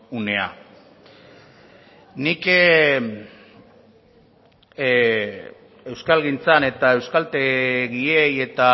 unea nik euskalgintzan eta euskaltegiei eta